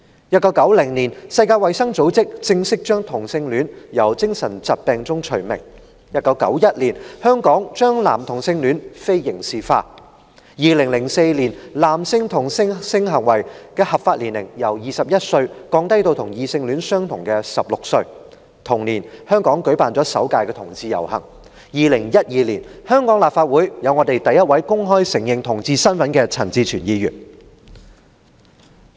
1990年，世界衞生組織正式將同性戀從精神疾病名單中剔除 ；1991 年，香港將男同性戀非刑事化 ；2004 年，男性同性性行為的合法年齡由21歲降低至與異性戀相同的16歲，同年，香港舉辦了首屆同志遊行 ；2012 年，香港立法會出現第一位公開承認其同志身份的陳志全議員。